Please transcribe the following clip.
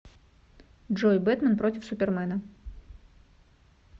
джой бэтмэн против супермена